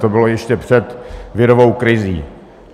To bylo ještě před virovou krizí.